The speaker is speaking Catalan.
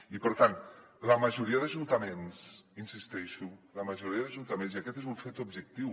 i per tant la majoria d’ajuntaments hi insisteixo la majoria d’ajunta·ments i aquest és un fet objectiu